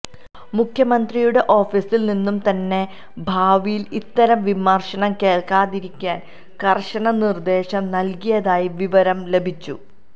മുഖ്യമന്ത്രിയുടെ ഓഫീസിൽ നിന്നും തന്നെ ഭാവിയിൽ ഇത്തരം വിമർശനം കേൾക്കാതിരിക്കാൻ കർശന നിർദ്ദേശം നൽകിയതായി വിവരം ലഭിച്ചു